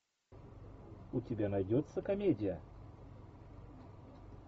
у тебя найдется комедия